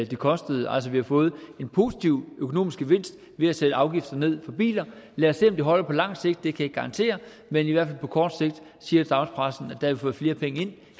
det kostede altså vi har fået en positiv økonomisk gevinst ved at sætte afgiften ned på biler lad os se om det holder på lang sigt det kan jeg ikke garantere men i hvert på kort sigt siger dagspressen har vi fået flere penge ind end